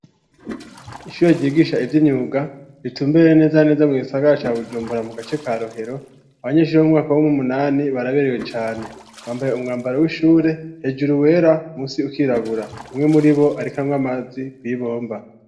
Ishure rigisha ivy'inyuga ritumbereye neza neza mu gisagara ca Bujumbura mu gace ka rohero .Abanyeshure wo mumwaka womumunani baraberewe cane .Bambaye umwambaro w'ishure hejuru wera musi ukirabura umwe muribo ariko amwe amazi kwibomba.